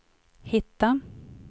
hitta